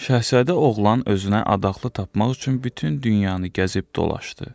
Şahzadə oğlan özünə adaqlı tapmaq üçün bütün dünyanı gəzib dolaşdı.